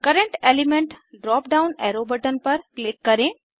current element drop down arrow button पर click करें